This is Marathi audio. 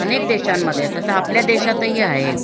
अनेक देशामध्ये आणि आपल्या देशात हि आहे